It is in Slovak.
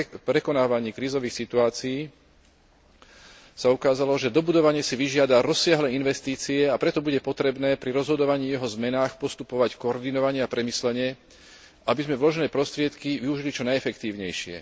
prekonávanie krízových situácií, sa ukázalo, že dobudovanie si vyžiada rozsiahle investície, a preto bude potrebné pri rozhodovaní o jeho zmenách postupovať koordinovane a premyslene, aby sme vložené prostriedky využili čo najefektívnejšie.